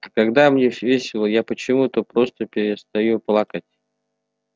а когда мне весело я почему то просто перестаю плакать